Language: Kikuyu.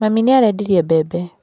Mami nĩ arendirie mbembe.